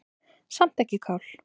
Samt ekki kál.